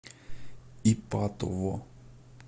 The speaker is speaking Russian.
ипатово